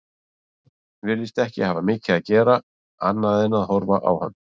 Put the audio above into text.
Virðist ekki hafa mikið að gera annað en að horfa í hann.